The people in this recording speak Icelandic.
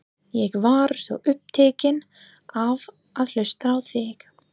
Ég var svo upptekinn af að hlusta á þig.